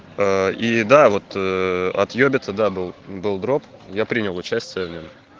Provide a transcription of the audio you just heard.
аа и да вот от ёбицы да был дроп я принял участие в нём